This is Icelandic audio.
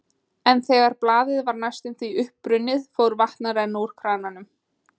En þegar blaðið var næstum því uppbrunnið, fór vatn að renna úr krananum.